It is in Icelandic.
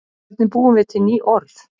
Hvernig búum við til ný orð?